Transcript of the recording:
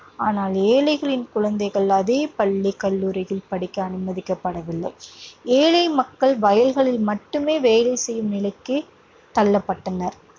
ஆனால் ஏழைகளின் குழந்தைகள் அதே பள்ளி, கல்லூரியில் படிக்க அனுமதிக்கப்படவில்லை. ஏழை மக்கள் வயல்களில் மட்டுமே வேலை செய்யும் நிலைக்குத் தள்ளப்பட்டனர்.